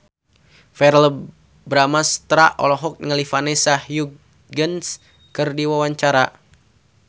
Verrell Bramastra olohok ningali Vanessa Hudgens keur diwawancara